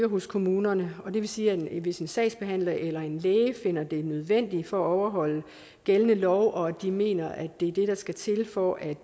hos kommunerne og det vil sige at hvis en sagsbehandler eller en læge finder det nødvendigt for at overholde gældende lov og de mener at det er det der skal til for at